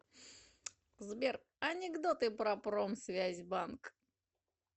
сбер анекдоты про промсвязьбанк